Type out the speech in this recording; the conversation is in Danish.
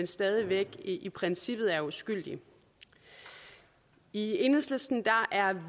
stadig væk i princippet er uskyldige i enhedslisten er